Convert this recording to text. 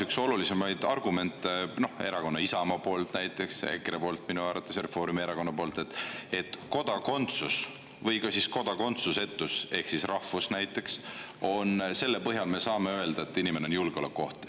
Üks olulisemaid argumente, mis kõlas siin näiteks Isamaa Erakonna poolt, EKRE poolt minu arvates ja Reformierakonna poolt, oli see, et kodakondsuse või ka kodakondsusetuse või näiteks rahvuse põhjal me saame öelda, et inimene on julgeolekuoht.